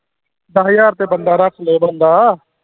ਦਹ ਹਜਾਰ ਤੇ ਬੰਦਾ ਰੱਖ ਲੈ ਬੰਦਾ